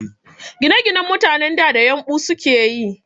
Ginaginan mutanen da, da yumɓu sukeyi